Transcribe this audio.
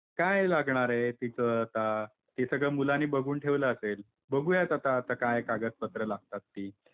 काय लागणार आहे तिथं आता, ते सगळं मुलाने बघून ठेवलं असेल. बघूयात आता काय कागद पत्र लागतात ती